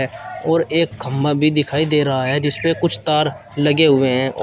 और एक खंभा भी दिखाई दे रहा है जिस पे कुछ तार लगे हुए हैं औ--